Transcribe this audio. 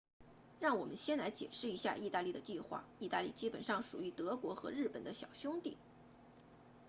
让我们先来解释一下意大利的计划意大利基本上属于德国和日本的小兄弟